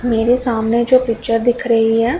मेरे सामने जो पिक्चर दिख रही है।